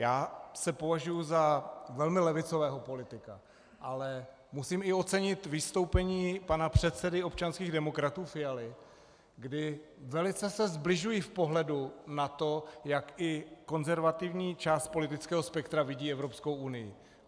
Já se považuji za velmi levicového politika, ale musím i ocenit vystoupení pana předsedy občanských demokratů Fialy, kdy velice se sbližuji v pohledu na to, jak i konzervativní část politického spektra vidí Evropskou unii.